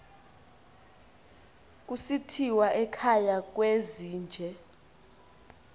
kusithiwa ekhaya kwezinje